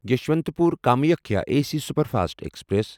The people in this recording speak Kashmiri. یسوانتپور کامکھیا اے سی سپرفاسٹ ایکسپریس